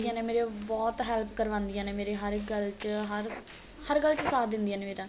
ਨੇ ਮੇਰੀ ਬਹੁਤ help ਕਰਵਾਂਦਿਆਂ ਨੇ ਮੇਰੇ ਹਰ ਇੱਕ ਗੱਲ ਚ ਹਰ ਹਰ ਗੱਲ ਚ ਸਾਥ ਦਿੰਦਿਆਂ ਨੇ ਮੇਰਾ